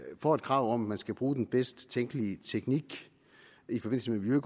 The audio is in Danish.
får et krav om at man skal bruge den bedst tænkelige teknik i forbindelse med